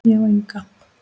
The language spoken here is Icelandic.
Ég á enga.